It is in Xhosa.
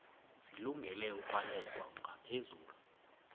zilungele ukwalekwa ngaphezulu